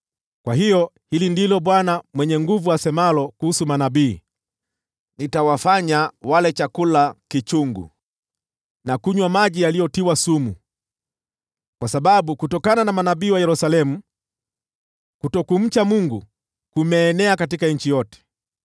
Kwa hiyo, hili ndilo Bwana Mwenye Nguvu Zote asemalo kuhusu manabii: “Nitawafanya wale chakula kichungu na kunywa maji yaliyotiwa sumu, kwa sababu kutokana na manabii wa Yerusalemu kutokumcha Mungu kumeenea katika nchi yote.”